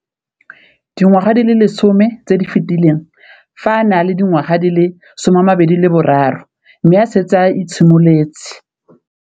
Dingwaga di le 10 tse di fetileng, fa a ne a le dingwaga di le 23 mme a setse a itshimoletse